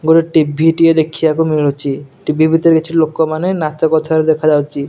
ଗୋଟେ ଟିଭି ଟିଏ ଦେଖିବାକୁ ମିଳୁଚି ଟିଭି ଭିତରେ କିଛି ଲୋକମାନେ ନାଚ କରୁଥିବାର ଦେଖାହୋଉଚି।